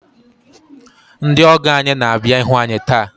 Ndị ọgọ anyị na-abịa ịhụ anyị taa.